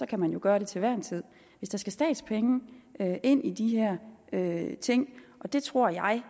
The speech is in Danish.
kan man jo gøre det til hver en tid hvis der skal statspenge ind i de her her ting og det tror jeg